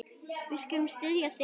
Við skulum styðja þig.